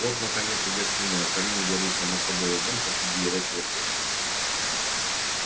вот наконец и гостиная в камине горит сама собой огонь посреди горячего пепла